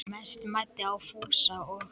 Mest mæddi á Fúsa og